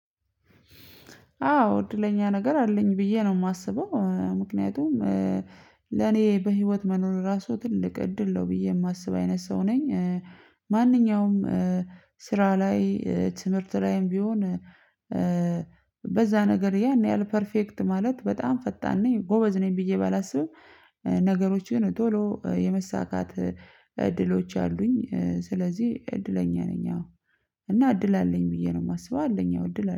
አዎ እድለኛ ነገር አለኝ ብዬ ነው የማስበው ምክንያቱም ለኔ በህይወት መኖር ራሱ ትልቅ እድል ነው ብዬ የማስብ አይነት ሰው ነኝ። ማንኛውም ስራ ላይ ትምህር ላይም ቢሆን። በዛ ነገር ላይ ያን ያህል በጣም ፐርፌክት ማለት በጣም ፈጣን ነኝ ገበዝ ነኝ ብዬ ባላስብም ነገሮችን ቶሎ የመሳካት እድሎች አሉኝ ስለዚህ እድለኛ ነኝ። አዎ እና እድል አለኝ ብዬ ንው የማስበው አለኝ። አዎ እድል አለኝ